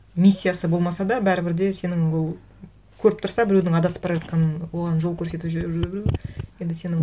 миссиясы болмаса да бәрібір де сенің ол көріп тұрса біреудің адасып бара жатқанын оған жол көрсетіп жіберу енді сенің